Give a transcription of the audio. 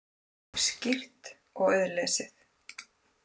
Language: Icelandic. Skýrt og auðlesið.